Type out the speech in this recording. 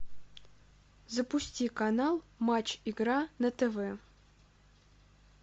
запусти канал матч игра на тв